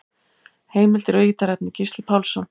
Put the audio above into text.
Heimildir og ítarefni: Gísli Pálsson.